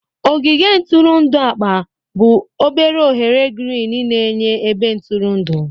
Ogige ntụrụndụ akpa bụ obere oghere girin na-enye ebe ntụrụndụ.